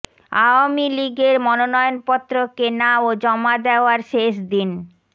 আওয়ামী লীগের মনোনয়নপত্র কেনা ও জমা দেওয়ার শেষ দিন